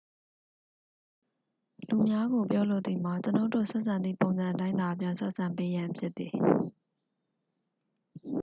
လူများကို ပြောလိုသည်မှာ ကျွန်ုပ်တို့ဆက်ဆံသည့်ပုံစံအတိုင်းသာ ပြန်ဆက်ဆံပေးရန် ဖြစ်သည်